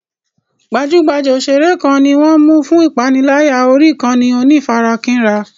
Gbajúgbajà òṣèré kan ni wọ́n ń mú fún ìpániláyà orí ìkànnì onífarakínra.